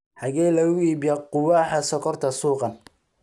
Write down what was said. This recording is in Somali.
xagee lagu iibiyaa qubaxa sonkorta suqan